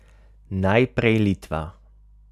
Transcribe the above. Najprej Litva.